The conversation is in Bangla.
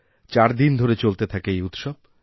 চারদিন ধরে চলতে থাকে এই উৎসব